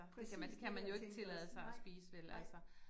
Præcis det jeg tænkte også, nej, nej